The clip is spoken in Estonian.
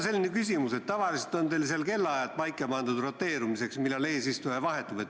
Tavaliselt on teil seal pandud paika roteerumise kellaajad, et millal eesistuja vahetub.